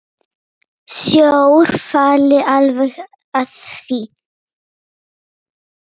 Sjór falli alveg að því.